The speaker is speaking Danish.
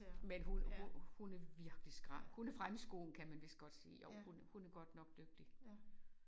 Men hun hun hun er virkelig skrap hun er fremme i skoene kan man vist godt sige jo hun er hun er godt nok dygtig